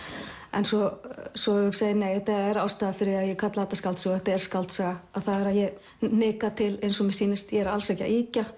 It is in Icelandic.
en svo svo hugsa ég nei ástæðan fyrir að ég kalla þetta skáldsögu og þetta er skáldsaga er að ég hnika til eins og mér sýnist ég er alls ekki að ýkja